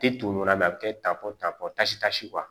Te to ɲɔn na bi a bɛ kɛ tapɔn ta pisita si